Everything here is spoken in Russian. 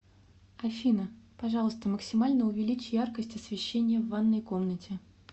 афина пожалуйста максимально увеличь яркость освещения в ванной комнате